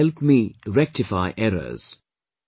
She would help me rectify errors